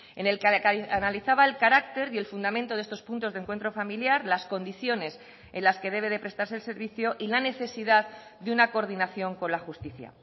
en el que analizaba el carácter y el fundamento de estos puntos de encuentro familiar las condiciones en las que debe de prestarse el servicio y la necesidad de una coordinación con la justicia